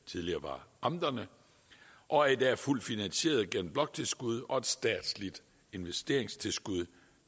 tidligere var amterne og er i dag fuldt finansieret gennem bloktilskud og et statsligt investeringstilskud